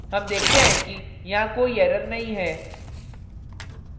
हम देखते हैं कि यहाँ कोई error नहीं है